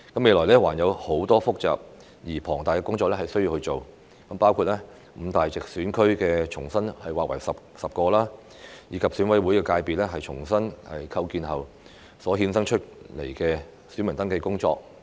未來還有很多複雜而龐大的工作需要做，包括五大直選區重新劃為10個，以及選委會界別重新構建後所衍生出來的選民登記工作。